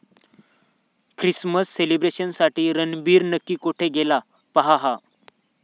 Christmas सेलिब्रेशनसाठी रणबीर नक्की कुठे गेला? पहा हा